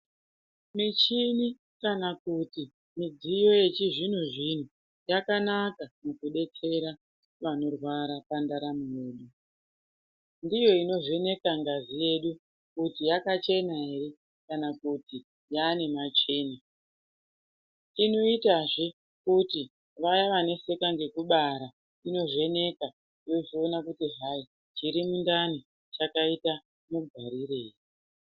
Michini kana kuti midziyo yechizvinozvino yakanaka mukudetsera vanorwara pandaramo yedu. Ndiyo inovheneka ngazi yedu kuti yakachena ere kana kuti yaane matsvina. Inoitazve kuti vaye vanetseka ngekubara inovheneka yozoona kuti hayi chiri mundani chakaite mugarirei.